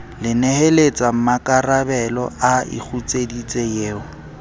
leneheletsa mmakarabelo a ikgutseditse eo